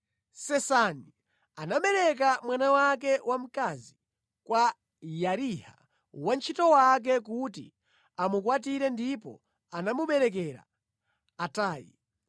Sesani anapereka mwana wake wamkazi kwa Yariha wantchito wake kuti amukwatire ndipo anamuberekera Atayi.